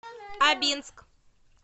абинск